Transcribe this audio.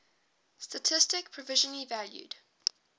statistik provisionally valued